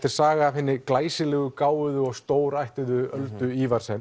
er saga af hinni glæsilegu gáfuðu og stórættuðu Öldu